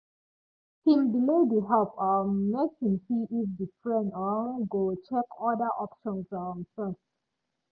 him delay the help um make him see if the friend um go check other options um first